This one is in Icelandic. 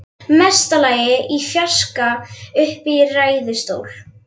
Mesta lagi í fjarska uppi í ræðustól.